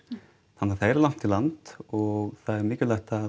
þannig að það er langt í land og það er mikilvægt